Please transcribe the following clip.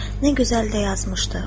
Nə gözəl də yazmışdı.